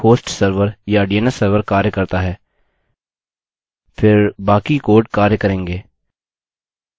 मान लीजिए कि यह मेल हॉस्ट सर्वर या dns सर्वर कार्य करता है फिर बाकी कोड कार्य करेंगे